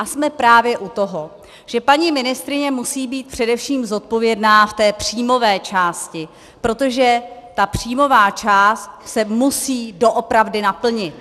A jsme právě u toho, že paní ministryně musí být především zodpovědná v té příjmové části, protože ta příjmová část se musí doopravdy naplnit.